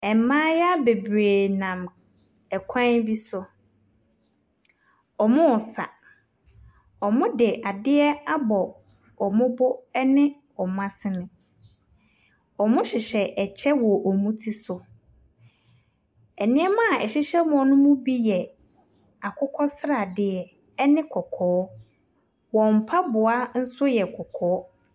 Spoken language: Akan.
Mmayewa bebree nam kwan bi so. Wɔresa. Wɔde adeɛ abɔ wɔn bo ne wɔn asene. Wɔhyehyɛ kyɛ wɔ wɔn ti so. Nneɛma a ɛhyɛhyɛ wɔn no mu bi yɛ akokɔ sradeɛ ne kɔkɔɔ. Wɔn mpaboa nso yɛ kɔkɔɔ.